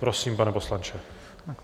Prosím, pane poslanče.